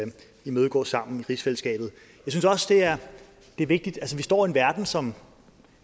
imødegå sammen i rigsfællesskabet det er vigtigt vi står i en verden som